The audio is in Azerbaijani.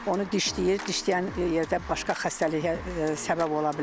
Onu dişləyir, dişləyən yerdə başqa xəstəliyə səbəb ola bilər.